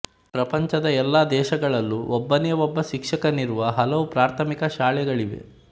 ಪ್ರಪಂಚದ ಎಲ್ಲ ದೇಶಗಳಲ್ಲೂ ಒಬ್ಬನೇ ಒಬ್ಬ ಶಿಕ್ಷಕನಿರುವ ಹಲವು ಪ್ರಾಥಮಿಕ ಶಾಲೆಗಳಿವೆ